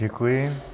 Děkuji.